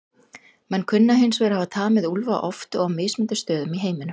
Menn kunna hins vegar að hafa tamið úlfa oft og á mismunandi stöðum í heiminum.